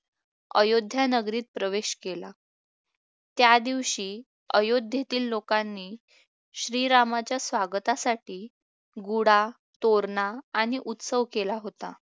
अयोध्या नगरीत प्रवेश केला त्यादिवशी अयोध्येतील लोकांनी श्रीरामाच्या स्वागतासाठी गुढा तोरणा आणि उत्सव केला होता